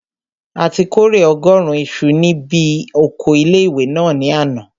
A ti kórè ọgọ́rùn isu ní bi oko ilé-ìwé náà ní àná